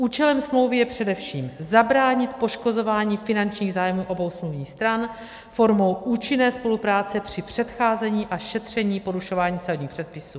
Účelem smlouvy je především zabránit poškozování finančních zájmů obou smluvních stran formou účinné spolupráce při předcházení a šetření porušování celních předpisů.